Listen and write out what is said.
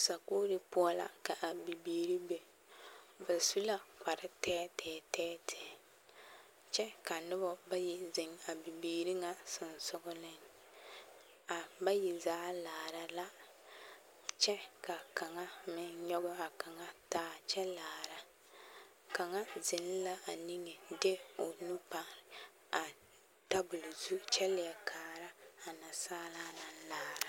Sakuuri poɔ la ka a bibiiri be, ba su la kpare tɛɛtɛɛ tɛɛtɛɛ kyɛ ka noba bayi zeŋ a bibiiri ŋa sonsogeleŋ, a bayi zaa laara la kyɛ ka kaŋa meŋ nyɔge a kaŋa taa kyɛ laara, kaŋa zeŋ la a niŋe de o nu pare a tabol zu kyɛ leɛ kaara a nasaalaa naŋ laara.